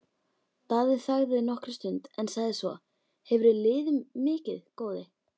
Daði þagði nokkra stund en sagði svo: Hefurðu liðið mikið, góði?